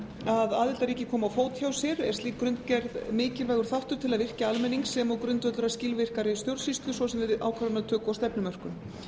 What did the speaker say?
að aðildarríki komi á fót hjá sér er slík grunngerð mikilvægur þáttur til að virkja almenning sem og grundvöllur að skilvirkari stjórnsýslu svo sem við ákvarðanatöku og stefnumörkun